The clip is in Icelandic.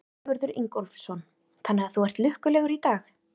Sigurður Ingólfsson: Þannig að þú ert lukkulegur í dag?